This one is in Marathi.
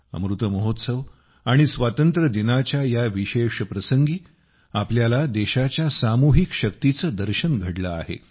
अमृत महोत्सव आणि स्वातंत्र्यदिनाच्या या विशेष प्रसंगी आपल्याला देशाच्या सामूहिक शक्तीचे दर्शन घडले आहे